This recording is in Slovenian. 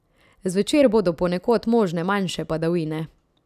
Zvečer bodo ponekod možne manjše padavine.